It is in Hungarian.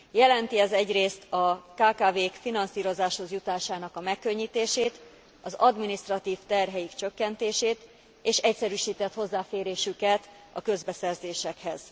Jelenti ez egyrészt a kkv k finanszírozáshoz jutásának a megkönnyítését, az adminisztratív terhek csökkentését és egyszerűsített hozzáférésüket a közbeszerzésekhez.